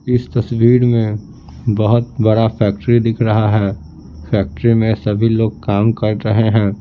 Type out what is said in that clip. इस तस्वीर में बहुत बड़ा फैक्ट्री दिख रहा है फैक्ट्री में सभी लोग काम कर रहे है।